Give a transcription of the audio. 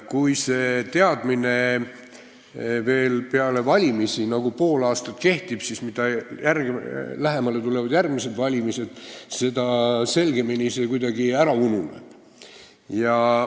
Kui see teadmine veel pool aastat peale valimisi ka olemas on, siis mida lähemale tulevad järgmised valimised, seda kindlamalt see kuidagi ära ununeb.